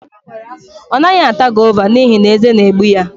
Ọ naghị ata gova n'ihi na eze na-egbu ya